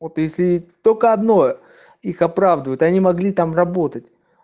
вот если только одно их оправдывает они могли там работать